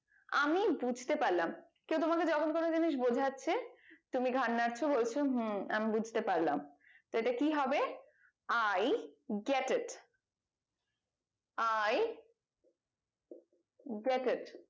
আমি বুঝতে পারলাম কেউ তোমাকে যখন কোনো জিনিস বোঝাচ্ছে তুমি ঘাড় নাড়ছো বলছো হম আমি বুঝতে পারলাম তো এটা কি হবে i got it i got it